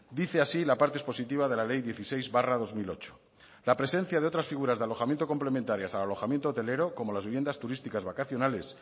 dice así la parte expositiva de la ley dieciséis barra dos mil ocho la presencia de otras figuras de alojamiento complementarias al alojamiento hotelero como las viviendas turísticas vacacionales